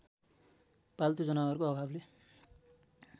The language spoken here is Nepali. पाल्तु जनावरको अभावले